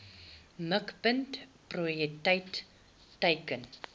mikpunt prioriteit teiken